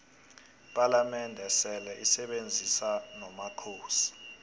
ipalamende seleisebenzisona nomakhosi